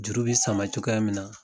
Juru be sama cogoya min na